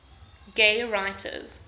gay writers